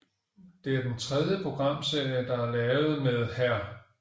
Det er den tredje programserie der er lavet med Hr